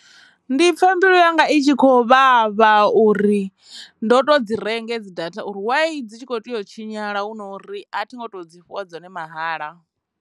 Ndi pfha mbilu yanga i tshi khou vhavha uri ndo to dzi renga hedzi data uri why dzi tshi kho tea u tshinyala hu na uri a thi ngo to dzi fhiwa dzone mahala.